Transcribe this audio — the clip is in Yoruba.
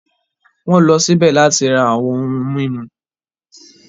Wọ́n lọ síbẹ̀ láti ra àwọn ohun mímu.